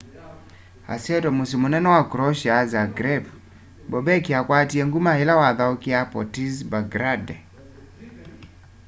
asyaitwe musyi munene wa croatia zagreb bobek akwatie nguma ila wathaukiaa partizan belgrade